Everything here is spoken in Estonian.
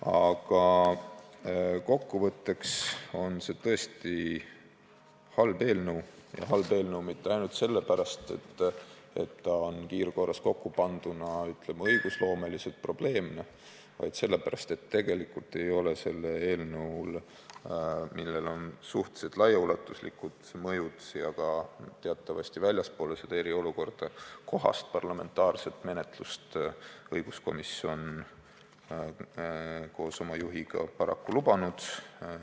Aga kokku võttes on see tõesti halb eelnõu – mitte ainult seepärast, et see on kiirkorras kokkupanduna õigusloomeliselt probleemne, vaid ka seepärast, et tegelikult ei ole õiguskomisjon koos oma juhiga selle eelnõu puhul, millel on suhteliselt laiaulatuslikud mõjud teatavasti ka väljaspool eriolukorda, kohast parlamentaarset menetlust paraku lubanud.